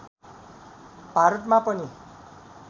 भारतमा पनि